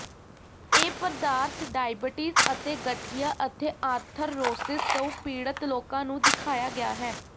ਇਹ ਪਦਾਰਥ ਡਾਇਬਟੀਜ਼ ਅਤੇ ਗਠੀਆ ਅਤੇ ਆਰਥਰਰੋਸਿਸ ਤੋਂ ਪੀੜਤ ਲੋਕਾਂ ਨੂੰ ਦਿਖਾਇਆ ਗਿਆ ਹੈ